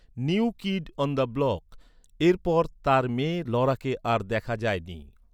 "New Kid on the Block" এর পর তার মেয়ে লরাকে আর দেখা যায়নি।